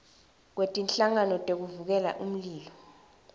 kwetinhlangano tekuvikela umlilo